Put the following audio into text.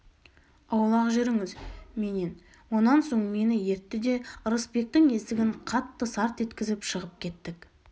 аулақ жүріңіз менен онан соң мені ертті де ырысбектің есігін қатты сарт еткізіп шығып кеттік